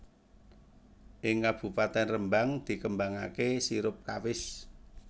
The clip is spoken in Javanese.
Ing Kabupatèn Rembang dikembangaké sirup kawis